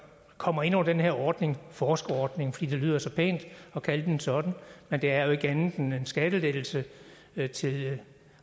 kommer ind under den her ordning forskerordning fordi det lyder så pænt at kalde den sådan men det er jo ikke andet end en skattelettelse til til